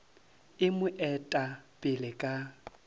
e mo eta pele ka